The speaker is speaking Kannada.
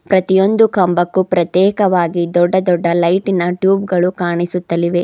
ಪ್ರತಿಯೊಂದು ಕಂಬಕ್ಕೂ ಪ್ರತ್ಯೇಕವಾಗಿ ದೊಡ್ಡ ದೊಡ್ಡ ಲೈಟಿನ ಟ್ಯೂಬ್ ಗಳು ಕಾಣಿಸುತ್ತಲಿವೆ.